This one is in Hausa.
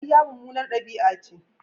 Ƙarya mummunar ɗabi'a ce.